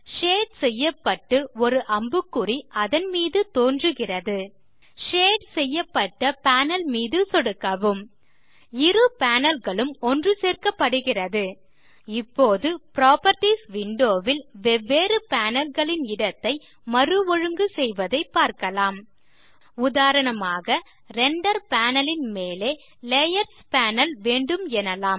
shade செய்யப்பட்டு ஒரு அம்புக்குறி அதன்மீது தோன்றுகிறது ஷேட் செய்யப்பட்ட பேனல் மீது சொடுக்கவும் இரு பேனல் களும் ஒன்றுசேர்க்கப்படுகிறது இப்போது புராப்பர்ட்டீஸ் விண்டோ ல் வெவ்வேறு பேனல் களின் இடத்தை மறுஒழுங்கு செய்வதை பார்க்கலாம் உதாரணமாக ரெண்டர் பேனல் ன் மேலே லேயர்ஸ் பேனல் வேண்டும் எனலாம்